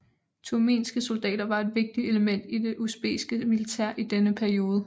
Turkmenske soldater var et vigtigt element i det usbekiske militær i denne periode